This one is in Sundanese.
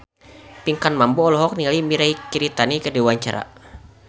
Pinkan Mambo olohok ningali Mirei Kiritani keur diwawancara